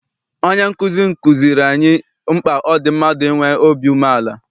Onye nkụzi m kụziere anyị mkpa ọ dị mmadụ inwe obi umeala.